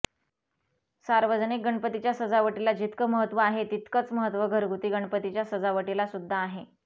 सार्वजनिक गणपतीच्या सजावटीला जितकं महत्त्व आहे तितकंच महत्त्व घरगुती गणपतीच्या सजावटीलासुद्धा आहे